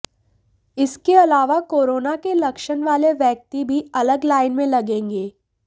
इसके अलावा कोरोना के लक्षण वाले व्यक्ति भी अलग लाइन में लगेंगे